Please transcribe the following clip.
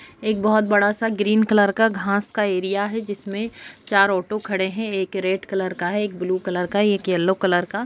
एक बहुत बड़ा सा ग्रीन कलर का घास का एरिया है जिसमे चार ऑटो खड़े है एक रेड कलर का है एक ब्लू कलर का एक येलो कलर का।